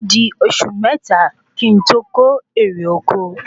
ódi osu mẹ́ta kí n to ko èrè oko